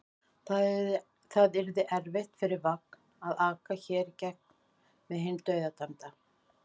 Það yrði erfitt fyrir vagn að aka hér í gegn með hinn dauðadæmda.